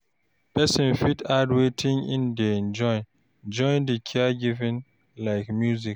Person fit add wetin im dey enjoy join di caregiving like music